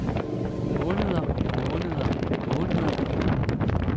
måneder måneder måneder